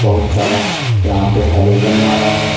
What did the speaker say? बहुत सारा यहां पे हैलोजन मारा है।